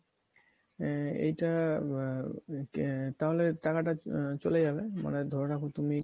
আ~ এইটা বা কে তাহলে টাকাটা চলে যাবে মানে ধরে রাখো তুমি